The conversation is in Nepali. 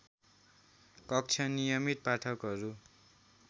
कक्ष नियमित पाठकहरू